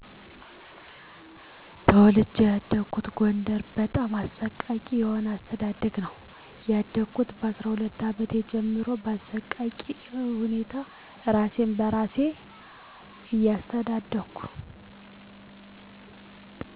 ተወልጄ ያደኩት ጎደር በጣም አሰቃቂ የሆአስተዳደግነው ያደኩት ካስሁለት አመቴ ጀምሮ ባሰቃቂሁነታ እራሴን በራሴ እያስተዳደርኩ